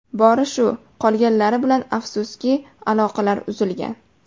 Bori shu, qolganlar bilan afsuski, aloqalar uzilgan.